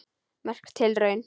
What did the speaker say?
Merk tilraun